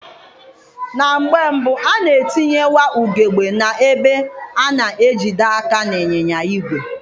Na mgbe mbụ, a na-etinyewa ugegbe na-ebe a na-ejide aka n'ịnyịnya ìgwè.